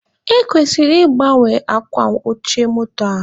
E kwesịrị ị gbanwe akwa oche moto a.